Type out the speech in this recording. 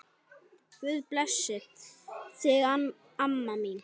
Guð blessi þig, amma mín.